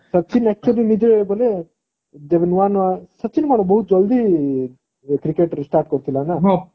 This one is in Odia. ସଚିନ actually ନିଜେ ବୋଇଲେ ଯେବେ ନୂଆ ନୂଆ ସଚିନ କଣ ବହୁତ ଜଳଦି cricket ରେ start କରିଥିଲା ନା ନା